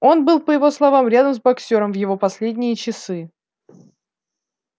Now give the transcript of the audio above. он был по его словам рядом с боксёром в его последние часы